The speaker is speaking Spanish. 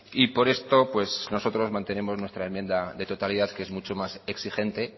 y por esto nosotros mantenemos nuestra enmienda de totalidad que es mucho más exigente